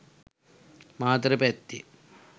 මාතර පැත්තේ.